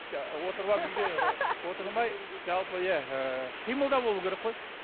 отырып алып үйде отырмай жалпы иә ы қимылда болу керек қой